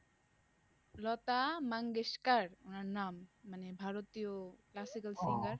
লতা মঙ্গেশকর ওনার নাম, মানে ভারতীয় classical singer